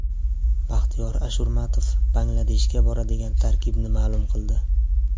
Baxtiyor Ashurmatov Bangladeshga boradigan tarkibni ma’lum qildi.